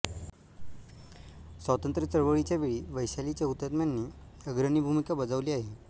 स्वातंत्र्य चळवळीच्या वेळी वैशालीच्या हुतात्म्यांनी अग्रणी भूमिका बजावली आहे